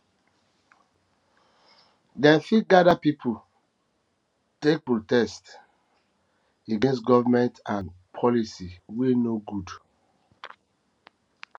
dem fit gather pipo um take protest um take protest um against government and um policy wey no good